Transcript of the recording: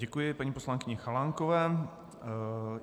Děkuji paní poslankyni Chalánkové.